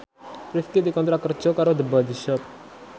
Rifqi dikontrak kerja karo The Body Shop